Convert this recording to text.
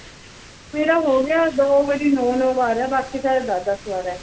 ਮੇਰਾ ਹੋ ਗਿਆ ਦੋ ਵਾਰੀ ਨੌਂ-ਨੌਂ ਵਾਰ ਆ, ਬਾਕੀ ਸਾਰਾ ਦਸ ਦਸ ਵਾਰ ਆ।